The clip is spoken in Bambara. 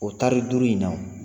O tari duuru in na